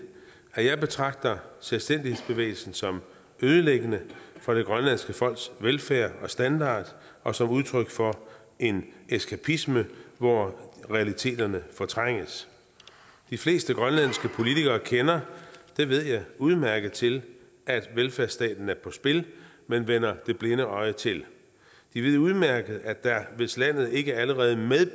at jeg betragter selvstændighedsbevægelsen som ødelæggende for det grønlandske folks velfærd og standard og som udtryk for en eskapisme hvor realiteterne fortrænges de fleste grønlandske politikere kender det ved jeg udmærket til at velfærdsstaten er på spil men vender det blinde øje til de ved udmærket at der hvis landet ikke allerede